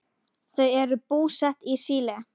Þau eru búsett í Síle.